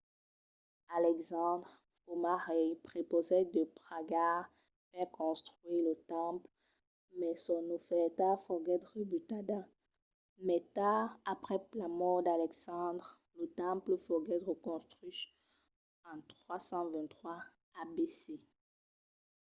alexandre coma rei prepausèt de pagar per reconstruire lo temple mas son ofèrta foguèt rebutada. mai tard aprèp la mòrt d'alexandre lo temple foguèt reconstruch en 323 abc